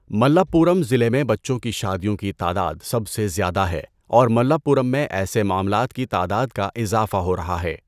ملپّورم ضلع میں بچوں کی شادیوں کی تعداد سب سے زیادہ ہے اور ملپّورم میں ایسے معاملات کی تعداد کا اضافہ ہو رہا ہے۔